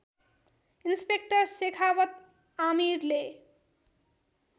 inspector Shekhawat आमिरले